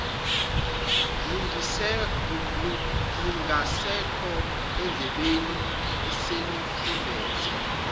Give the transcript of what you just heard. lungasekho endlebeni eselufumbethe